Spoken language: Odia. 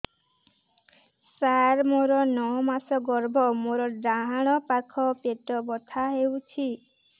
ସାର ମୋର ନଅ ମାସ ଗର୍ଭ ମୋର ଡାହାଣ ପାଖ ପେଟ ବଥା ହେଉଛି